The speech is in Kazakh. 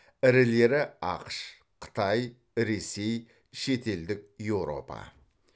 ірілері ақш қытай ресей шетелдік еуропа